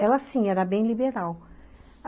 Ela, sim, era bem liberal.